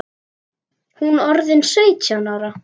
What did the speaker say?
Hún orðin sautján ára.